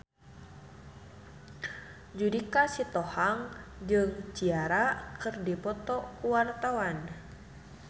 Judika Sitohang jeung Ciara keur dipoto ku wartawan